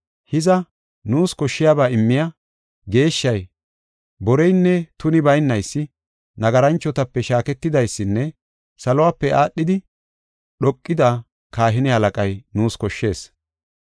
Hiza, nuus koshshiyaba immiya, geeshshay, boreynne tuni baynaysi, nagaranchotape shaaketidaysinne saluwape aadhidi dhoqida kahine halaqay nuus koshshees.